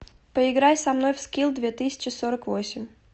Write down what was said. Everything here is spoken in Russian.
поиграй со мной в скилл две тысячи сорок восемь